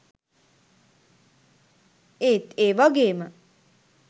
ඒත් ඒ වගේම